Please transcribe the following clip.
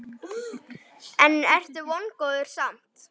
En ertu vongóður samt?